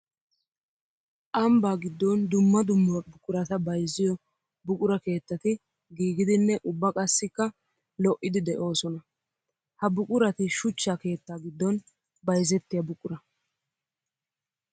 Ambba giddon dumma dumma buquratta bayzziyo buqura keettati giigiddinne ubba qassikka lo'iddi de'osonna. Ha buquratti shuchcha keetta gidon bayzzettiya buqura.